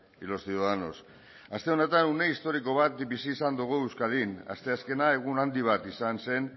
y los ciudadanos aste honetan une historiko bat bizi izan dugu euskadin asteazkena egun handi bat izan zen